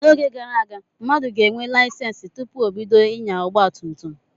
N'oge gara aga, mmadụ ga-enwe layisensi tụpụ ọ bido inya ọgba tum tum.